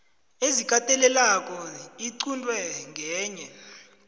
ezikatelelako iqunte ngenye